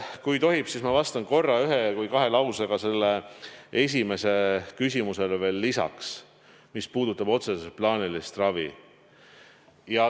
Kui tohib, siis ma vastan ühe või kahe lausega sellele esimesele küsimusele veel lisaks, mis puudutab otseselt plaanilist ravi.